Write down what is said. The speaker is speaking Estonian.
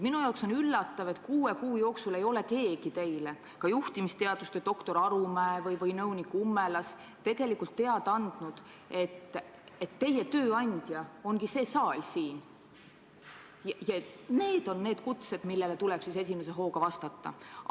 Minule on üllatav, et kuue kuu jooksul ei ole teile keegi, ka mitte juhtimisteaduste doktor Arumäe või nõunik Ummelas, teada andnud, et teie tööandja ongi see saal siin ja et need on need kutsed, millele tuleb kohe esimese hooga vastata.